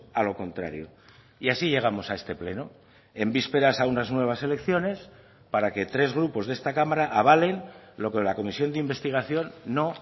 a lo contrario y así llegamos a este pleno en vísperas a unas nuevas elecciones para que tres grupos de esta cámara avalen lo que la comisión de investigación no